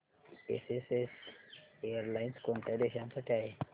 SAS airlines कोणत्या देशांसाठी आहे